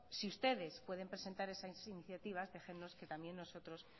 si ustedes pueden presentar esas iniciativas déjennos que también nosotros